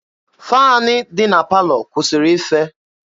Faanị dị na palọ kwụsịrị ife.